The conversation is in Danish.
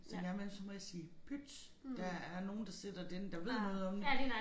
Så en gang imellem så må jeg sige pyt der er nogen der sidder derinde der ved noget om